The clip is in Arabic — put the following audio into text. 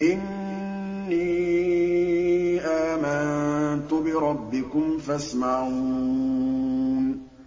إِنِّي آمَنتُ بِرَبِّكُمْ فَاسْمَعُونِ